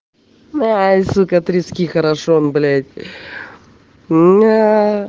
сукка трески хорошо он блять н аа